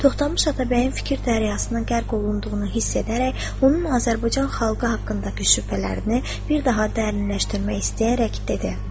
Toxtamış Atabəyin fikir dəryasına qərq olunduğunu hiss edərək onun Azərbaycan xalqı haqqındakı şübhələrini bir daha dərinləşdirmək istəyərək dedi.